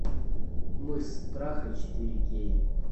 мыс страха четыре кей